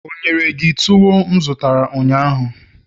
o nyere gi tuwo m zụtara ụnyaahụ?